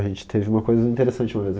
A gente teve uma coisa interessante uma vez.